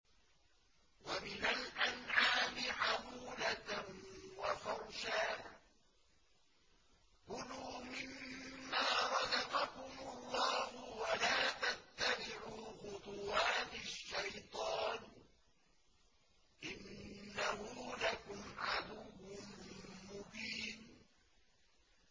وَمِنَ الْأَنْعَامِ حَمُولَةً وَفَرْشًا ۚ كُلُوا مِمَّا رَزَقَكُمُ اللَّهُ وَلَا تَتَّبِعُوا خُطُوَاتِ الشَّيْطَانِ ۚ إِنَّهُ لَكُمْ عَدُوٌّ مُّبِينٌ